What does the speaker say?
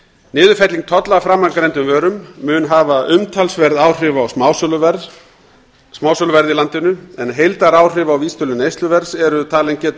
niðurfelling tolla af framangreindum vörum mun hafa umtalsverð áhrif á smásöluverð í landinu en heildaráhrif á vísitölu neysluverðs eru talin geta